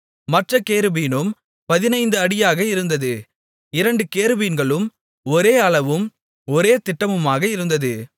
மற்றக் கேருபீனும் 15 அடியாக இருந்தது இரண்டு கேருபீன்களும் ஒரே அளவும் ஒரே திட்டமுமாக இருந்தது